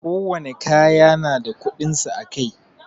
Ko wani kaya na da kudinsa a Kai.